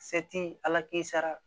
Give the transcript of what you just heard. Se ti ala k'i sara